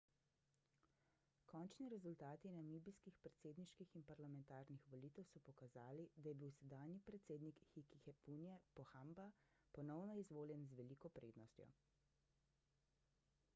končni rezultati namibijskih predsedniških in parlamentarnih volitev so pokazali da je bil sedanji predsednik hifikepunye pohamba ponovno izvoljen z veliko prednostjo